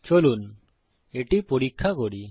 চলুন এটি পরীক্ষা করি